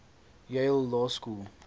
yale law school